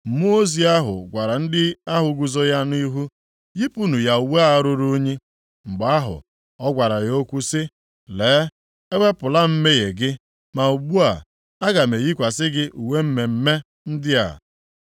Mmụọ ozi ahụ gwara ndị ahụ guzo ya nʼihu, “Yipụnụ ya uwe a ruru unyi.” Mgbe ahụ, ọ gwara ya okwu sị, “Lee, ewepụla m mmehie gị, ma ugbu a, aga m eyikwasị gị uwe mmemme ndị a.”